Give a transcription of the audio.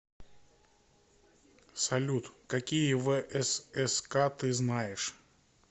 салют какие всск ты знаешь